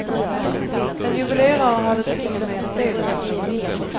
En juvelerare hade ett finger med i spelet. punkt